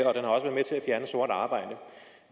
fjerne sort arbejde